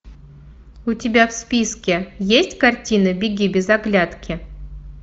у тебя в списке есть картина беги без оглядки